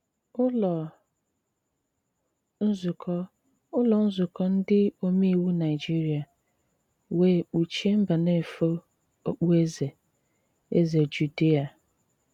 Ùlọ nzùkọ Ùlọ nzùkọ ndị òmèiwù Nàịjìrìà wèè kpùchìè Mbànéfò òkpùèzè Èzè Jùdìà.